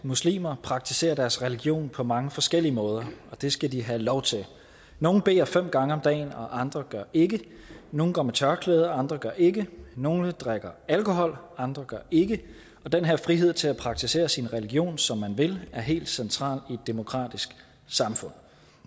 muslimer praktiserer deres religion på mange forskellige måder og det skal de have lov til nogle beder fem gange om dagen og andre gør ikke nogle går med tørklæde og andre gør ikke nogle drikker alkohol og andre gør ikke og den her frihed til at praktisere sin religion som man vil er helt central i et demokratisk samfund